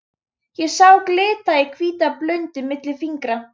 Ég sá glitta í hvíta blúndu milli fingra.